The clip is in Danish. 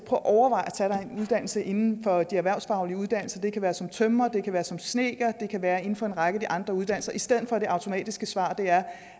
at overveje at tage dig en uddannelse inden for de erhvervsfaglige uddannelser det kan være som tømrer det kan være som snedker det kan være inden for en række af de andre uddannelser i stedet for at det automatisk svar er